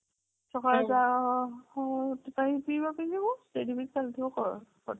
ସଖାଳେ ଯାଅ ଶେଠୀ ବି ଚାଲି ଥିବ